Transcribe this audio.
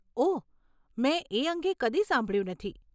ઓહ, મેં એ અંગે કદી સાંભળ્યું નથી.